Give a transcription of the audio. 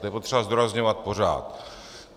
To je potřeba zdůrazňovat pořád.